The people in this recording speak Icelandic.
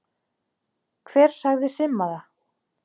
Hver sagði Simma það?